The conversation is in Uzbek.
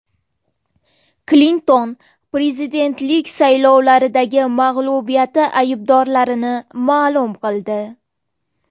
Klinton prezidentlik saylovlaridagi mag‘lubiyati aybdorlarini ma’lum qildi.